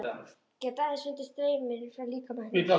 Get aðeins fundið strauminn frá líkama hennar.